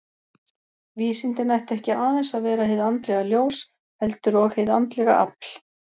Vísindin ættu ekki aðeins að vera hið andlega ljós, heldur og hið andlega afl.